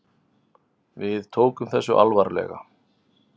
Við tókum þessu alvarlega.